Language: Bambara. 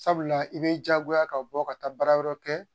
Sabula i b'i jagoya ka bɔ ka taa baara wɛrɛ kɛ